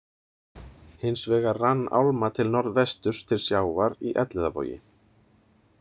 Hins vegar rann álma til norðvesturs til sjávar í Elliðavogi.